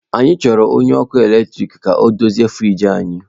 Anyị chọrọ onye ọkụ eletrik ka ọ dozie friji anyị